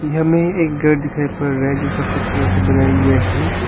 यहां में एक घर दिखाई पड़ रहा है जो सफेद कलर से बनाया गया है।